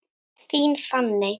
Þín, Fanney.